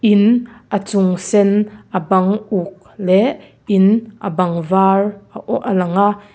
in a chung sen a bang uk leh in a bang var a aw a lang a.